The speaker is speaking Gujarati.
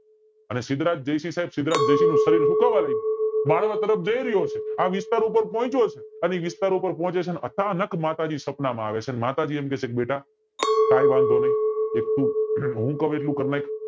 હવે સિદ્ધરાજ જયસિંહ સાઇબ સિદ્ધરાજ જયસિંહ નું શરીર સુકાવા લાગયુ બાળવા તરફ જાય રહ્યો છે અને આ વિસ્તાર ઉપર પોહ્ચ્યો છે અને વિસ્તાર ઉપર પોહચે છે ને અચાનક માતાજી સપનામાં આવે છે અને માતાજી એટલું કે છે બેટા કાય વાંધો નય એક તું અમ હું ક્વ એટલું કરી નાખ